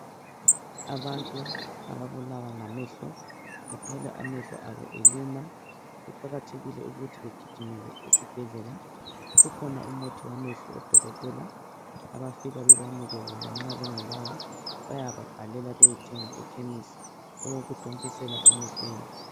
Abantu ababulawa ngamehlo uthole amehlo abo eluma kuqakathekile ukuthi bagijimele ezibhedlela kukhona umuthi wamehlo odokotela abafika bebanike wona nxa bengelawo bayababhalela bayethenga ekhemisi owokuthontisela emehlweni.